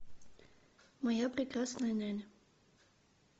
моя прекрасная няня